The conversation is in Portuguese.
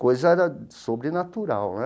Coisa né sobrenatural, né?